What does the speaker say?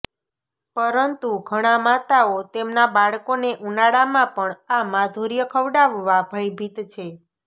પરંતુ ઘણા માતાઓ તેમના બાળકોને ઉનાળામાં પણ આ માધુર્ય ખવડાવવા ભયભીત છે